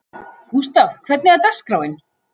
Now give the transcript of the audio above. Gústav, hvernig er dagskráin?